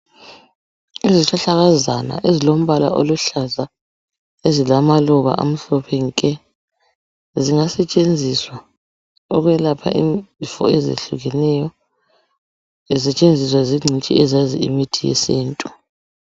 Izihlahlakazana ezilombala oluhlaza ezilamaluba amhlophe nke. Zingasetshenziswa ukwelapha izifo ezehlukeneyo. Zisetshenziswa zingcitshi ezazi imithi yesintu.